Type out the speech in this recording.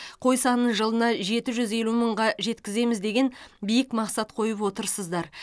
қой санын жылына жеті жүз елу мыңға жеткіземіз деген биік мақсат қойып отырсыздар